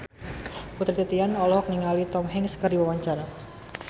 Putri Titian olohok ningali Tom Hanks keur diwawancara